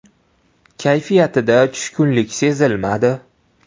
Kayfiyatida tushkunlik sezilmadi.